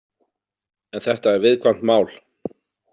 En þetta er viðkvæmt mál.